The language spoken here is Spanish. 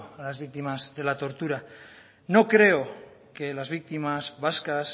a las víctimas de la tortura no creo que las víctimas vascas